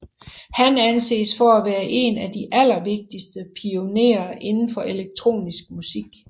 Han anses for at være en af de allervigtigeste pionerer inden for elektronisk musik